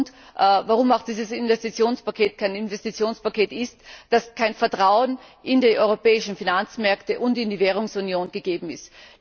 Der Hauptgrund, warum auch dieses Investitionspaket kein Investitionspaket ist, besteht darin, dass kein Vertrauen in die europäischen Finanzmärkte und in die Währungsunion gegeben ist.